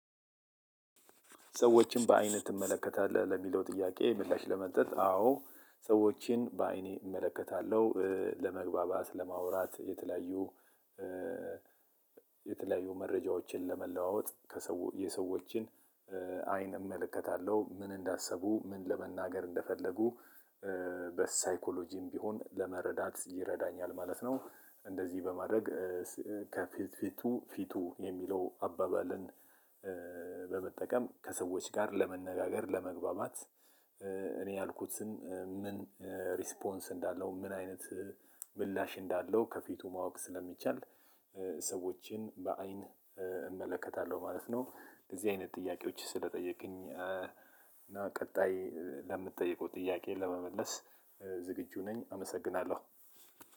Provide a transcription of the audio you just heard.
ሰዎችን በአይንህ ትመለከታለህ ለሚለው ጥያቄ ምላሽ ለመስጠት አዎ ሰዎችን በአይኔ እመለከታለሁ ለመግባባት ለማውራት የተለያዩ የተለያዩ መረጃዎችን ለመለዋወጥ የሰዎችን አይን እመለከታለሁ ምን እንዳሰቡ ምን ለመናገር እንደፈለጉ በሳይኮሎጂም ቢሆን ለመረዳት ይረዳኛል ማለት ነው። በማድረግ ከፊት ፊቱ ፊቱ የሚለው አባባልን በመጠቀም ከሰዎች ጋር ለመነጋገር ለመግባባት። እኔ ያልኩትን ምን ሪስፖንስ እንዳለው ምን አይነት ምላሽ እንዳለው ከፊቱ ማወቅ ስለሚቻል ሰዎችን በአይን እመለከታለሁ ማለት ነው። እነዚህ አይነት ጥያቄዎች ስለጠየቅከኝ እና ቀጣይ ለምትጠይቀው ጥያቄ ለመመለስ ዝግጁ ነኝ አመሰግናለሁ።